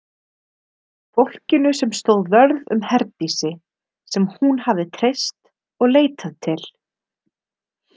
Fólkinu sem stóð vörð um Herdísi, sem hún hafði treyst og leitað til.